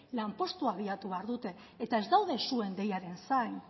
lan postua bilatu behar dute eta ez daude zuen deiaren zain